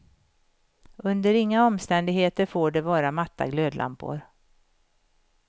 Under inga omständigheter får det vara matta glödlampor.